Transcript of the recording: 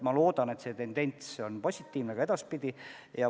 Ma loodan, et see tendents on positiivne ka edaspidi.